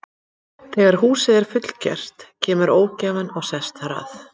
Þegar húsið er fullgert kemur ógæfan og sest þar að.